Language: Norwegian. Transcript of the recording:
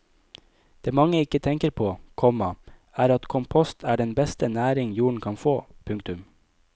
Det mange ikke tenker på, komma er at kompost er den beste næring jorden kan få. punktum